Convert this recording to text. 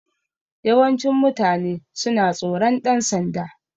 Yawancin mutane suna tsoron ɗan sanda